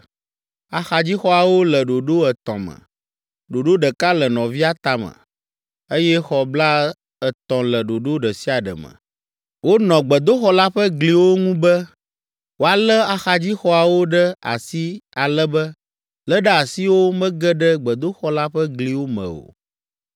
Axadzixɔawo le ɖoɖo etɔ̃ me, ɖoɖo ɖeka le nɔvia tame, eye xɔ blaetɔ̃ le ɖoɖo ɖe sia ɖe me. Wonɔ gbedoxɔ la ƒe gliwo ŋu be, woalé axadzixɔawo ɖe asi ale be léɖeasiwo mege ɖe gbedoxɔ la ƒe gliwo me o.